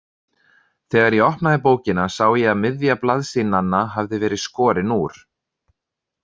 Þegar ég opnaði bókina sá ég að miðja blaðsíðnanna hafði verið skorin úr.